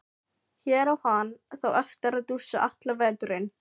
Hér á hann þá eftir að dúsa allan veturinn.